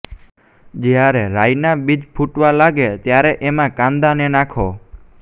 જ્યારે રાઈ ના બીજ ફુટવા લાગે ત્યારે એમા કાંદા ને નાખો